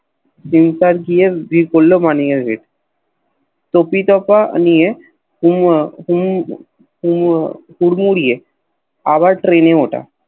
দিনকাল গিয়ে পড়ল মানিয়ের নিয়ে টপিতপ নিয়ে কুম আহ কুম আহ কুরমুড়িয়ে আবার ট্রেন এ ওটা